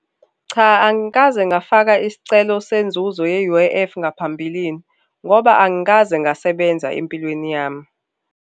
Cha, angikaze ngafaka isicelo senzuzo ye-U_I_F ngaphambilini ngoba angikaze ngasebenza empilweni yami.